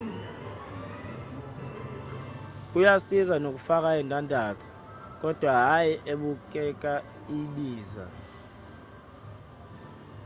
kuyasiza nokufaka indandatho kodwa hayi ebukeka ibiza